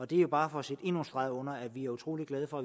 det er bare for at sætte endnu en streg under at vi er utrolig glade for